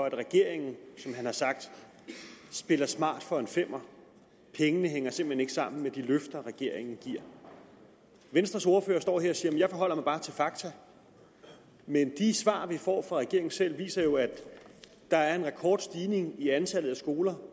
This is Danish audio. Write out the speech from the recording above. at regeringen spiller smart for en femmer pengene hænger simpelt hen ikke sammen med de løfter regeringen giver venstres ordfører står her og siger jeg forholder mig bare til fakta men de svar vi får fra regeringen selv viser jo at der er en rekordstigning i antallet af skoler